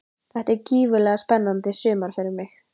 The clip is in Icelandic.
Þetta er gífurlega spennandi sumar fyrir mig.